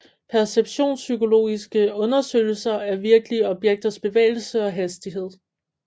Perceptionspsykologiske undersøgelser af virkelige objekters bevægelse og hastighed